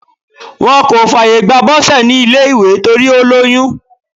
Wọ́n kò fààyè gba Bose ní ilé ìgbé torí ó lóyún.